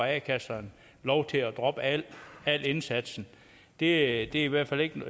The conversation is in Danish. a kasserne lov til at droppe al indsatsen det er i hvert fald ikke